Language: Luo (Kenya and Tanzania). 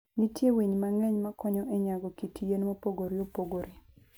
Nitie winy mang'eny ma konyo e nyago kit yien mopogore opogore.